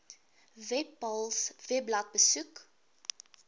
webpals webblad besoek